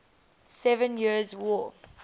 seven years war